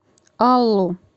аллу